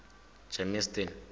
germiston